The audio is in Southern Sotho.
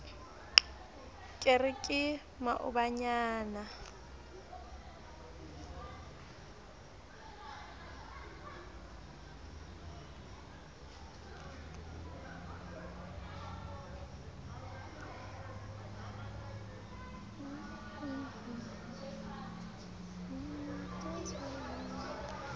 ke re ke maobanyana a